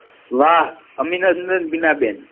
વાહ અભિનંદન બીના બેન